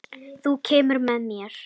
Þú kemur með.